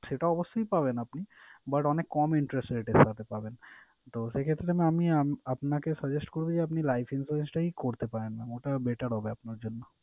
সেটা অবশ্যই পাবেন আপনি but অনেক কম interest rate এর সাথে পাবেন। তো সেই ক্ষেত্রে mam আমি আপনাকে suggest করবো যে আপনি life insurance টাই করতে পারেন mam । ওটা better হবে আপনার জন্য।